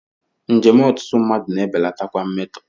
Njem ọtụtụ mmadụ na-ebelatakwa mmetọ.